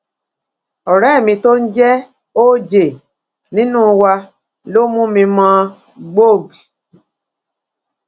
ọrẹ mi tó ń jẹ oj nínú wa ló mú mi mọ gbog